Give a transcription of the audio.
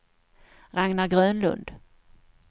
Ragnar Grönlund